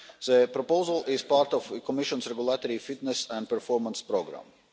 The proposal is part of the Commission's Regulatory Fitness and Performance programme.